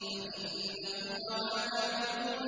فَإِنَّكُمْ وَمَا تَعْبُدُونَ